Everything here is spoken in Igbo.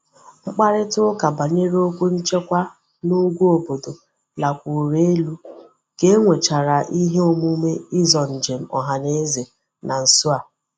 Mkparita uka banyere okwu nchekwa na ugwu obodo lakwuru elu ka e nwechara ihe omume izo njem ohaneze na nso a.